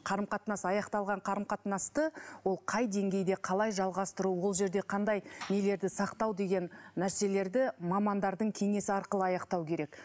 қарым қатынас аяқталған қарым қатынасты ол қай деңгейде қалай жалғастыру ол жерде қандай нелерді сақтау деген нәрселерді мамандардың кеңесі арқылы аяқтау керек